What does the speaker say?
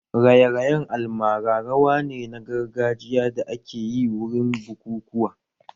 Raye-rayen almara rawa ne na gargajiya da akeyi wurin bukukuwa